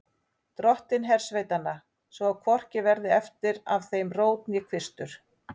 Dottinn hersveitanna, svo að hvorki verði eftir af þeim rót né kvistur.